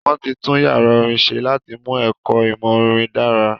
Wọ́n ti tún yàrá orin ṣe láti mú ẹ̀kọ ìmọ̀ orin dára